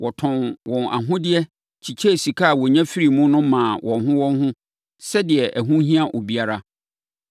Wɔtɔn wɔn ahodeɛ kyekyɛɛ sika a wɔnya firii mu no maa wɔn ho wɔn ho sɛdeɛ ɛho hia obiara.